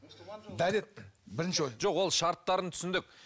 дәрет бірінші жоқ ол шарттарын түсіндік